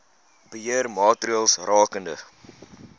beheer maatreëls rakende